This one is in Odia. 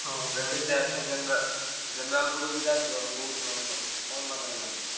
ଜେନେରା~ general buggy ବଗି ରେ ଯଦି ଆସିବ ବହୁତ ମାନେ କଷ୍ଟ କମ ବାଟ ହେଲାଣି ନା।